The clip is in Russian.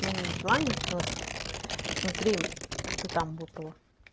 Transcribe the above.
ну не на желание просто смотри что там выпало